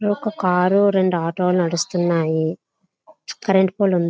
ఇక్కడ ఒక కారు రెండు ఆటోలు నడుస్తున్నాయి. కరెంట్ పోల్ ఉంది.